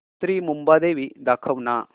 श्री मुंबादेवी दाखव ना